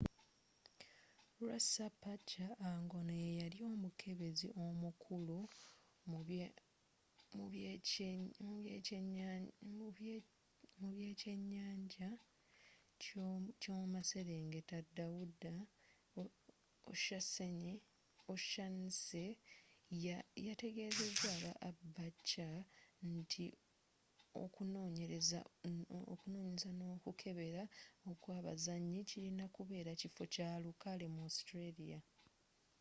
rspca ngono yeyali omukebezi omukulu mubekyenyanja kyomumaserengeta dawuda o'shannessy yategezeza aba abc nti okunonyereza nokukebera okwabazanyi kirina kubeera kifo kyalukale mu australia